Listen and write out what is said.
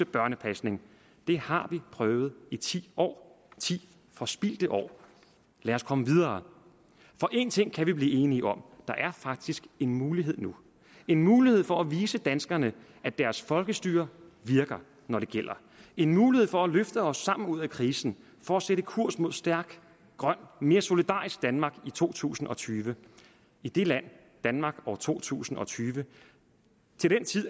børnepasning det har vi prøvet i ti år ti forspildte år lad os komme videre en ting kan vi blive enige om der er faktisk en mulighed nu en mulighed for at vise danskerne at deres folkestyre virker når det gælder en mulighed for at løfte os sammen ud af krisen for at sætte kurs mod et stærkt grønt og mere solidarisk danmark i to tusind og tyve i det land danmark år to tusind og tyve